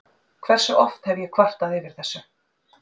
Hversu oft hef ég kvartað yfir þessu?